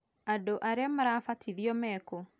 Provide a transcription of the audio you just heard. Andũ arĩa marabatithio mekũ?